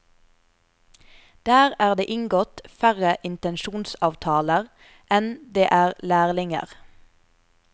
Der er det inngått færre intensjonsavtaler enn det er lærlinger.